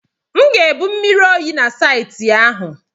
M ga-ebu mmiri oyi na saịtị ahụ.